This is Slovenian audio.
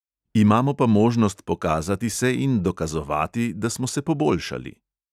Imamo pa možnost pokazati se in dokazovati, da smo se poboljšali.